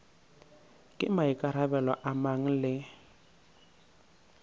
ke maikarabelo a mang le